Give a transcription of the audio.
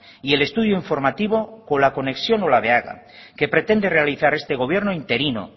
y el estudio informativo con la conexión olabeaga que pretende realizar este gobierno interino